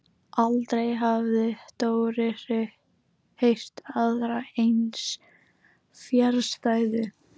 Aldrei hafði Dóri heyrt aðra eins fjarstæðu.